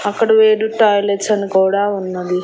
అక్కడ way to toilets అని కూడా ఉన్నది.